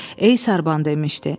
Ey sarban demişdi.